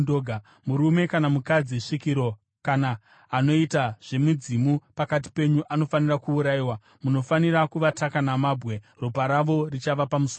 “ ‘Murume kana mukadzi svikiro kana anoita zvemidzimu pakati penyu anofanira kuurayiwa. Munofanira kuvataka namabwe. Ropa ravo richava pamusoro pavo.’ ”